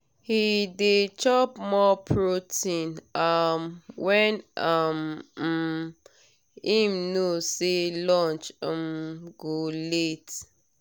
he dey chop more protein um when um um him know say lunch um go late.